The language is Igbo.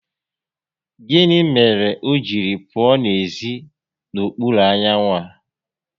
Gịnị mere o jiri pụọ n'ezi n'okpuru anyanwụ a?